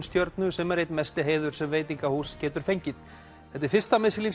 stjörnu sem er einn mesti heiður sem veitingahús getur fengið þetta er fyrsta